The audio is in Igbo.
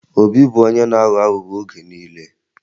Obi bụ onye na-aghọ aghụghọ oge niile